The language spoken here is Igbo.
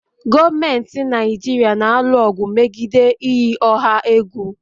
Gọọmentị Naijiria na-alụ ọgụ megide iyi ọha egwu